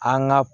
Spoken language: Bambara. An ka